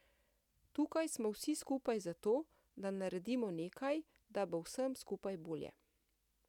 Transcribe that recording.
Tukaj smo vsi skupaj zato, da naredimo nekaj, da bo vsem skupaj bolje.